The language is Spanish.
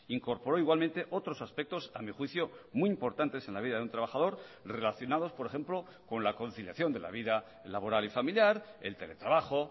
incorporó igualmente otros aspectos a mi juicio muy importantes en la vida de un trabajador relacionados por ejemplo con la conciliación de la vida laboral y familiar el teletrabajo